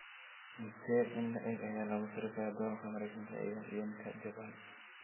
Intee in le'eg ayaa lagu sarifayaa Doolarka Maraykanka iyo Yen-ka Jabbaan?